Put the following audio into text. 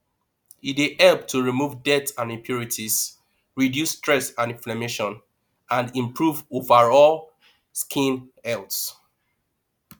e dey help to remove dirt and impurities reduce stress and imflammation and improve overall skin health